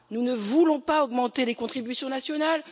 Nous ne voulons pas augmenter les contributions nationales.